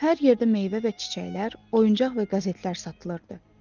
Hər yerdə meyvə və çiçəklər, oyuncaq və qəzetlər satılırdı.